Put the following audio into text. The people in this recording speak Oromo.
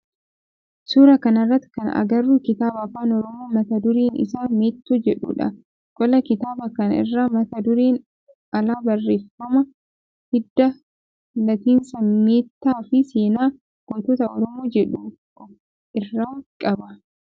Suuraa kana irratti kan agarru kitaaba afaan oromoo mata dureen isaa meettoo jedhudha. Qola kitaaba kanaa irra mata dureen ala barreeffama hidda latinsa meettaa fi seenaa gootota oromoo jedhu of irraa qaba.